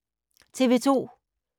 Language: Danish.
TV 2